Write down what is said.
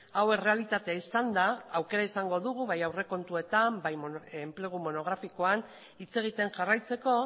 hau errealitatea izan da aukera izango dugu bai aurrekontuetan eta bai enplegu monografikoan hitz egiten jarraitzeko